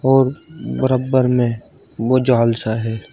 और बरबर में वो जाल सा है।